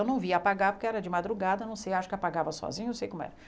Eu não via apagar porque era de madrugada, não sei, acho que apagava sozinha, não sei como era.